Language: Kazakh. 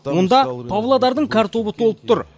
онда павлодардың картобы толып тұр